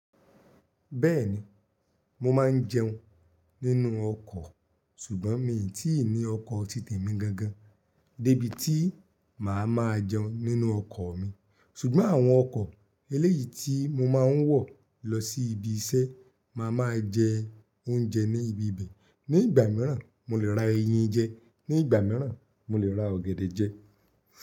Bẹ́ẹ̀ni, mo máa ń jẹun nínú ọkọ̀ ṣùgbọ́n mi ò tí ì ní ọkọ̀ titẹ̀ mi gangan débí tí màá máa jẹun nínú ọkọ̀ mi. Ṣùgbọ́n àwọn ọkọ̀ eléyìí tí mo máa ń wọ̀ lọ sí ibi iṣẹ́, màá máa jẹ oúnjẹ ní ibi ibe. Ní ìgbà mìíràn, mo lè ra eyín jẹ, ní ìgbà mìíràn, mo lè ra ọ̀gẹ̀dẹ̀ jẹ.